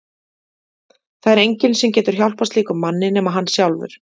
Það er enginn sem getur hjálpað slíkum manni nema hann sjálfur.